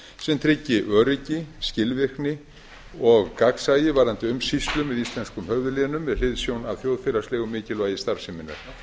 sem tryggir öryggi skilvirkni og gagnsæi varðandi umsýslu með íslenskum höfuðlénum með hliðsjón af þjóðfélagslegu mikilvægi starfseminnar